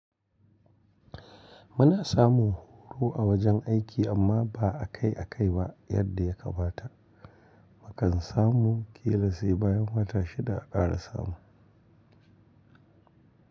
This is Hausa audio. Muna samu horo a wajen aiki amma ba a kai a kai ba yadda ya kamata. Akan samu kila sai bayan wata shida akara samu.